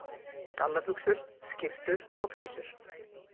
Gallabuxur, skyrtur og peysur.